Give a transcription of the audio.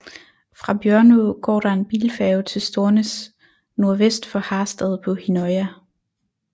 Fra Bjørnå går der en bilfærge til Stornes nordvest for Harstad på Hinnøya